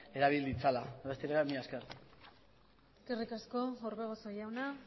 erabil ditzala besterik gabe mila esker eskerrik asko orbegozo jauna